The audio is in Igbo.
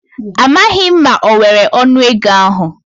Amaghi m ma o nwere onu ego ahu